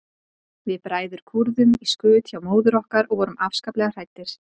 Við bræður kúrðum í skut hjá móður okkar og vorum afskaplega hræddir.